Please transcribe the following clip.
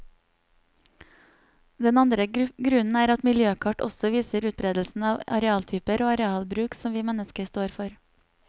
Den andre grunnen er at miljøkart også viser utberedelsen av arealtyper og arealbruk som vi mennesker står for.